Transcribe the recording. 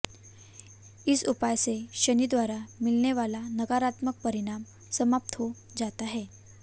इस उपाय से शनि द्वारा मिलने वाला नकारात्मक परिणाम समाप्त हो जाता है